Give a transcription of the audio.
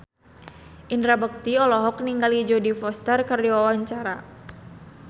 Indra Bekti olohok ningali Jodie Foster keur diwawancara